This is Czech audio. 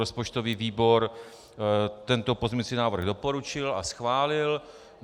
Rozpočtový výbor tento pozměňovací návrh doporučil a schválil.